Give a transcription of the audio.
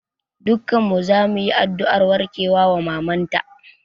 Dukkan mu zamu yi addu'ar warkewa wa maman ta